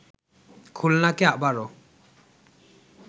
খুলনাকে আবারো